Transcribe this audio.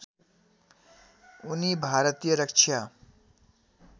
उनी भारतीय रक्षा